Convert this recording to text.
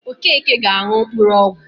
Okeke ga-aṅụ mkpụrụọgwọ